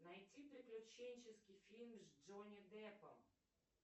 найти приключенческий фильм с джонни деппом